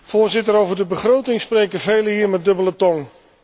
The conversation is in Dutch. Voorzitter, over de begroting spreken velen hier met dubbele tong.